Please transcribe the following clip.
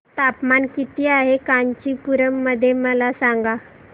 तापमान किती आहे कांचीपुरम मध्ये मला सांगा